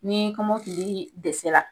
Ni kɔmɔkilii dɛsɛ la